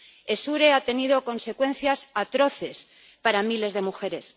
Essure ha tenido consecuencias atroces para miles de mujeres.